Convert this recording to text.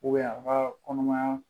a ka kɔnɔmaya